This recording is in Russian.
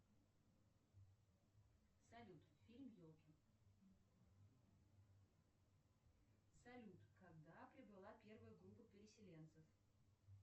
салют фильм елки салют когда прибыла первая группа переселенцев